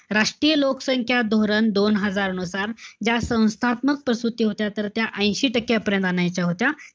राष्ट्रीय लोकसंख्या धोरण दोन हजार नुसार, ज्या संस्थात्मक प्रसूती होत्या तर त्या ऐशी टक्के पर्यंत आणायच्या होत्या.